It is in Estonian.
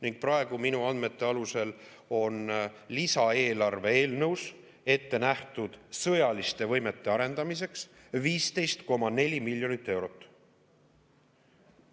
Ning praegu minu andmete alusel on lisaeelarve eelnõus ette nähtud sõjaliste võimete arendamiseks 15,4 miljonit eurot.